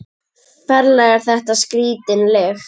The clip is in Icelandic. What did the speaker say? Ferlega er þetta skrítin lykt.